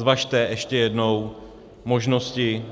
Zvažte ještě jednou možnosti,